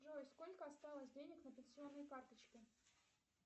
джой сколько осталось денег на пенсионной карточке